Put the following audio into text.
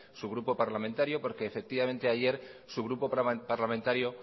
su grupo parlamentario porque efectivamente ayer su grupo parlamentario